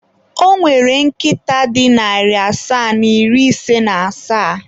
Ọ nwere nkịta dị narị asaa na iri ise na asaa.